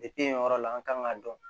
Depi yen yɔrɔ la an kan k'a dɔn